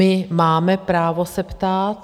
My máme právo se ptát.